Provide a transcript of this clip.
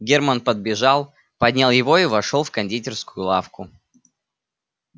германн подбежал поднял его и вошёл в кондитерскую лавку